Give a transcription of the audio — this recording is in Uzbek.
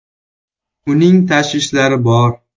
Uning tashvishlari bor.